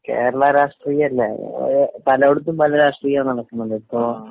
കേരളാ രാഷ്ട്രീയമല്ലേ? പലയിടത്തും പല രാഷ്ട്രീയമാ നടക്കുന്നത്.ഇപ്പൊ